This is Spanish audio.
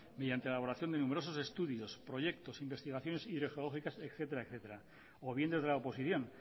mediante la elaboración de numerosos estudios proyectos investigaciones hidrogeológicas etcétera etcétera o bien desde la oposición